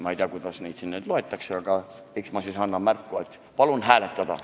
Ma ei tea, kuidas neid siin nüüd ette lugema hakatakse, aga eks ma siis annan märku, et palun seda ettepanekut hääletada.